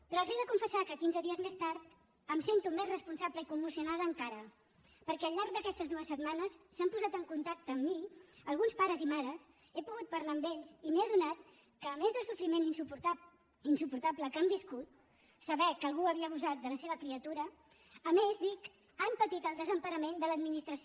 però els he de confessar que quinze dies més tard em sento més responsable i commocionada encara perquè al llarg d’aquestes dues setmanes s’han posat en contacte amb mi alguns pares i mares he pogut parlar amb ells i m’he adonat que a més del sofriment insuportable que han viscut saber que algú havia abusat de la seva criatura a més dic han patit el desemparament de l’administració